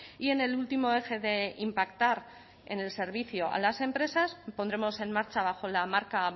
y en el último eje de impactar en el servicio a las empresas pondremos en marcha bajo la marca